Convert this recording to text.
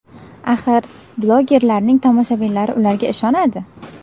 Axir, bloggerlarning tomoshabinlari ularga ishonadi.